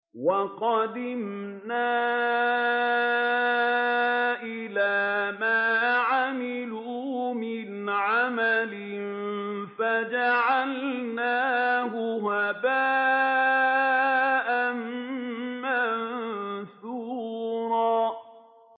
وَقَدِمْنَا إِلَىٰ مَا عَمِلُوا مِنْ عَمَلٍ فَجَعَلْنَاهُ هَبَاءً مَّنثُورًا